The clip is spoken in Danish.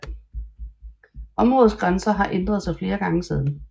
Områdets grænser har ændret sig flere gange siden